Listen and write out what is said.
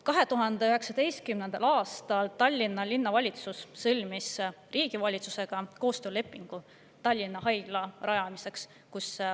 2019. aastal sõlmis Tallinna Linnavalitsus Vabariigi Valitsusega koostöölepingu Tallinna Haigla rajamiseks.